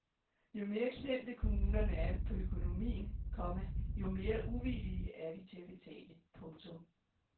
Jo mere klemte kommunerne er på økonomien, komma jo mere uvillige er de til at betale. punktum